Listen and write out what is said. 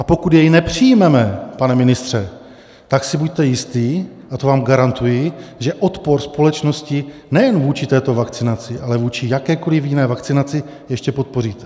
A pokud jej nepřijmeme, pane ministře, tak si buďte jistí, a to vám garantuji, že odpor společnosti nejen vůči této vakcinaci, ale vůči jakékoli jiné vakcinaci ještě podpoříte.